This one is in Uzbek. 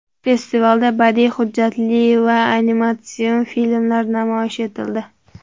Festivalda badiiy, hujjatli va animatsion filmlar namoyish etildi.